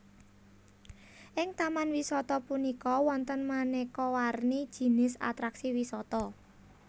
Ing Taman wisata punika wonten manéka warni jinis atraksi wisata